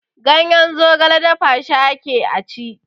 Ganyen zogale dafa shi ake a ci.